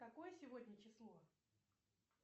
какое сегодня число